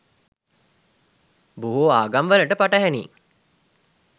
බොහෝ ආගම්වලට පටහැනියි.